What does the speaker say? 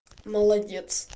молодец